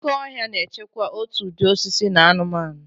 Oke ọhịa na-echekwa òtù ụdị osisi na anụmanụ.